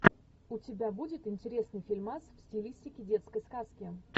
у тебя будет интересный фильмас в стилистике детской сказки